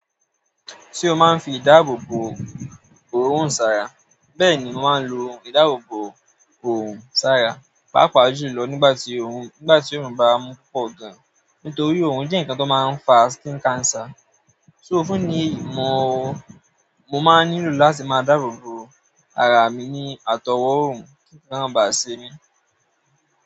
Ṣé o máa ń fi ìdáàbòbò òórùn sára? Bẹ́ẹ̀ni, mo máa ń lo ìdáàbò bò òórùn sára, pàápàá jùlọ nígbà tí òórùn bá mu pọ̀ gan. Nítorí òórùn jẹ́ nǹkan tó máa ń fa skin cancer. So fún ìdí èyí mo máa nílò láti máa dáàbò bò ara mi ní àtowó òórùn kí nǹkan máa ba à ṣe mí.